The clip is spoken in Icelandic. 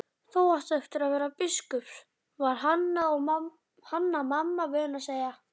Þú áttir að verða biskup, var Hanna-Mamma vön að segja.